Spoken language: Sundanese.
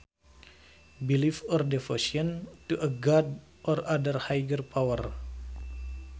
Belief or devotion to a god or other higher power